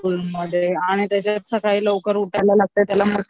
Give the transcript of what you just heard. स्कूलमध्ये आणि त्याच्यात सकाळी उठायला लागतंय त्याला मग